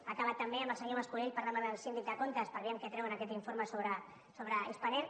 ha acabat també amb el senyor mas colell parlant amb el síndic de comptes per vejam què treu en aquest informe sobre spanair